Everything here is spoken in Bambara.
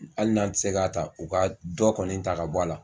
Hali n'an tɛ se ka ta u ka dɔ kɔni ta ka bɔ a la.